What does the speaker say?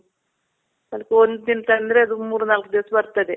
ಅದಕ್ ಒಂದ್ ದಿನ ತಂದರೆ ಅದು ಮೂರ್ ನಾಲ್ಕ್ ದಿವ್ಸ ಬರ್ತದೆ